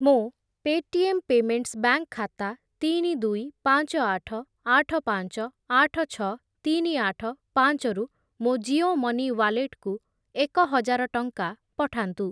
ମୋ Paytm payments bank ଖାତା ତିନି, ଦୁଇ, ପାଞ୍ଚ, ଆଠ, ଆଠ, ପାଞ୍ଚ, ଆଠ, ଛଅ, ତିନି, ଆଠ, ପାଞ୍ଚ ରୁ ମୋ ଜିଓ ମନି ୱାଲେଟ୍‌କୁ ଏକ ହଜାର ଟଙ୍କା ପଠାନ୍ତୁ।